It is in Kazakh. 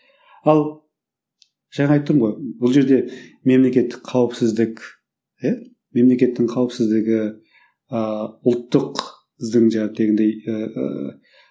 ал жаңа айттым ғой бұл жерде мемлекеттік қауіпсіздік иә мемлекеттің қауіпсіздігі ыыы ұлттық